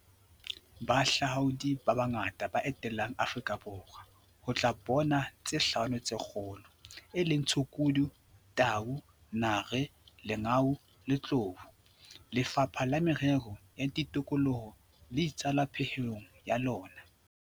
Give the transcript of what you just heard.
"Bahahlaudi ba bangata ba etela Aforika Borwa ho tla bona tse Hlano tse Kgolo, e leng tshukudu, tau, nare, lengau le tlou," Lefapha la Merero ya Tikoloho le itsalo pehelong ya lona.